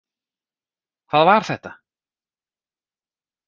Hvað var þetta?